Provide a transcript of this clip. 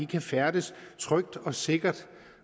kan færdes trygt og sikkert